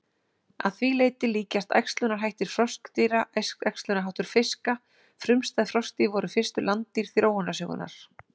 Að því leyti líkjast æxlunarhættir froskdýra æxlunarháttum fiska frumstæð froskdýr voru fyrstu landdýr þróunarsögunnar.